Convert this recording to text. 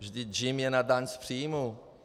Vždyť JIM je na daň z příjmů.